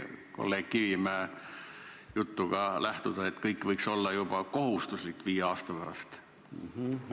Kolleeg Kivimäe jutust võib aru saada, et kõik see võiks olla viie aasta pärast juba kohustuslik?